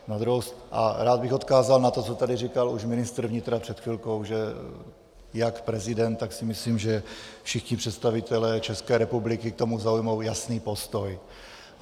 A rád bych odkázal na to, co tady říkal už ministr vnitra před chvilkou, že jak prezident, tak si myslím, že všichni představitelé České republiky k tomu zaujmou jasný postoj.